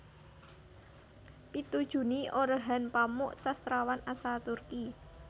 Pitu Juni Orhan Pamuk sastrawan asal Turki